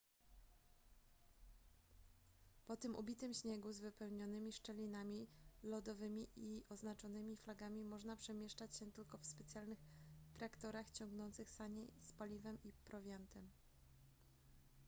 po tym ubitym śniegu z wypełnionymi szczelinami lodowymi i oznaczonymi flagami można przemieszczać się tylko w specjalnych traktorach ciągnących sanie z paliwem i prowiantem